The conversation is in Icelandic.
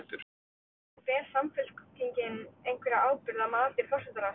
En ber Samfylkingin einhverja ábyrgð að mati forsætisráðherra?